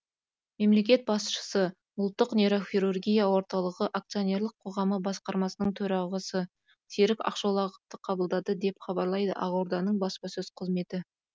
мемлекет басшысы ұлттық нейрохирургия орталығы акционерлік қоғамы басқармасының төрағасы серік ақшолақовты қабылдады деп хабарлайды ақорданың баспасөз қызметі